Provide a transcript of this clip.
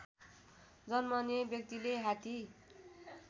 जन्मने व्यक्तिले हात्ती